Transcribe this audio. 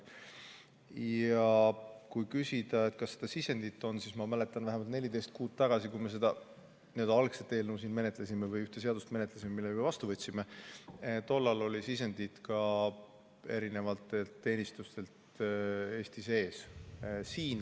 Ja kui küsida, kas sisendit on, siis ma mäletan, et vähemalt 14 kuud tagasi, kui me ühte seaduseelnõu siin algselt menetlesime ja selle ka vastu võtsime, tollal oli sisendit ka teenistustelt Eesti sees.